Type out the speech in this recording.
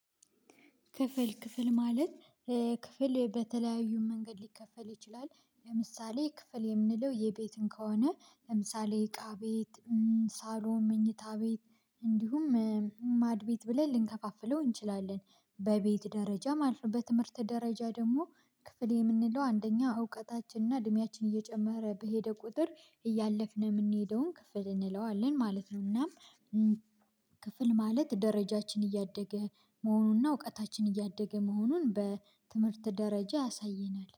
ክፍል ክፍል ማለት ክፍል በተለያዩ መንገድ ሊከፈል ይችላል። ለምሳሌ ክፍል የምንለው የቤትን ከሆነ ለምሳሌ እቃ ቤት ሳሎን መኝታ ቤት እንዲሁም ማድቤት ብለን ልንከፋፍለው እንችላለን። በቤት ደረጃ ማለት ነው። በትምህርት ደረጃ ደግሞ ክፍል የምንለው አንደኛ እውቀታችንና እድሜያችን እየጨመረ በሄደ ቁጥር እያለፍን የምንሄደውን ክፍል እንለዋለን ማለት ነው። እና ክፍል ማለት ደረጃችን እያደገ መሆኑን እና እውቀታችን እያደገ መሆኑን በትምህርት ደረጃ ያሳየናል